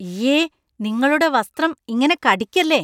ഇയ്യെ, നിങ്ങളുടെ വസ്‍ത്രം ഇങ്ങനെ കടിക്കല്ലേ.